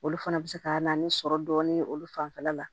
Olu fana bɛ se ka na ni sɔrɔ dɔɔnin ye olu fanfɛla la